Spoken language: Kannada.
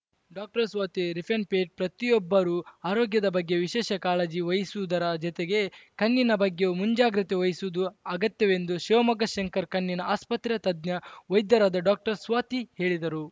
ಡಾಕ್ಟರ್ ಸ್ವಾತಿ ರಿಪ್ಪನ್‌ಪೇಟೆ ಪ್ರತಿಯೊಬ್ಬರೂ ಆರೋಗ್ಯದ ಬಗ್ಗೆ ವಿಶೇಷ ಕಾಳಜಿ ವಹಿಸುವುದರ ಜತೆಗೆ ಕಣ್ಣಿನ ಬಗ್ಗೆಯೂ ಮುಂಜಾಗ್ರತೆ ವಹಿಸುವುದು ಅಗತ್ಯವೆಂದು ಶಿವಮೊಗ್ಗ ಶಂಕರ ಕಣ್ಣಿನ ಆಸ್ಪತ್ರೆಯ ತಜ್ಞ ವೈದ್ಯರಾದ ಡಾಕ್ಟರ್ ಸ್ವಾತಿ ಹೇಳಿದರು